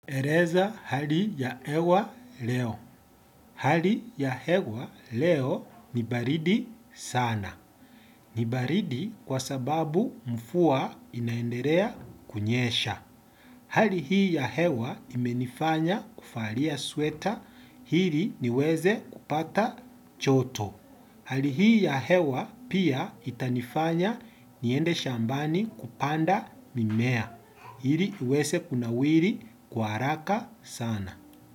Eleza hali ya hewa leo. Hali ya hewa leo ni baridi sana. Ni baridi kwa sababu mvua inaendelea kunyesha. Hali hii ya hewa imenifanya kuvalia sweta ili niweze kupata joto. Hali hii ya hewa pia itanifanya niende shambani kupanda mimea. Hili uweze kunawiri kwa haraka sana.